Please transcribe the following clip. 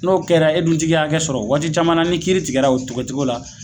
N'o kɛra, e dun t'i ka hakɛ sɔrɔ, waati caman na, ni kiiri tigɛra o tigɛ cogo la